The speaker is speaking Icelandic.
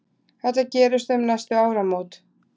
Þetta gerist um næstu áramót.